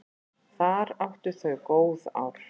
Þar áttu þau góð ár.